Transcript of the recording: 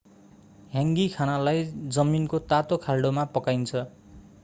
ह्याङ्गी खानालाई जमिनको तातो खाल्डोमा पकाइन्छ